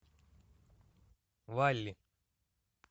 валл и